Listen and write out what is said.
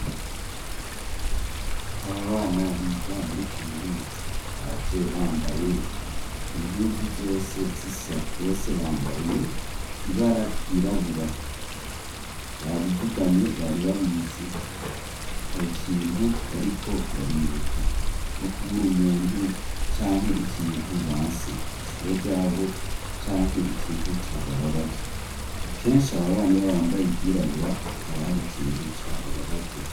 Aba bana biga muri kaminuza baje bambaye impuzu zose zisa bose bambaye ibara ryirabura babivuganye bari babizi hari ikintu bariko baribuka nko kubura umuntu canke ikintu base kw'ishure ryabo canke ikintu cabababaje akeshi ababani iyo bambaye ivyirabura haba hari ikintu cabababaje